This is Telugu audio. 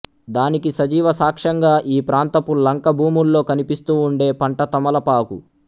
దానికి సజీవ సాక్ష్యంగా ఈ ప్రాంతపు లంక భూముల్లో కనిపిస్తూ ఉండే పంట తమలపాకు